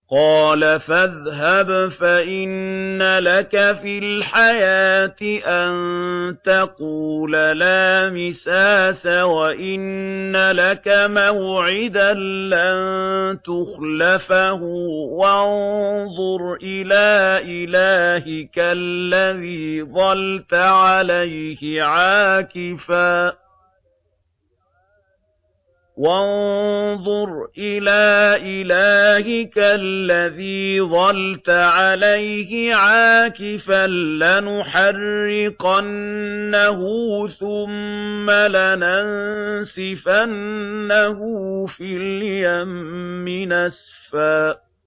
قَالَ فَاذْهَبْ فَإِنَّ لَكَ فِي الْحَيَاةِ أَن تَقُولَ لَا مِسَاسَ ۖ وَإِنَّ لَكَ مَوْعِدًا لَّن تُخْلَفَهُ ۖ وَانظُرْ إِلَىٰ إِلَٰهِكَ الَّذِي ظَلْتَ عَلَيْهِ عَاكِفًا ۖ لَّنُحَرِّقَنَّهُ ثُمَّ لَنَنسِفَنَّهُ فِي الْيَمِّ نَسْفًا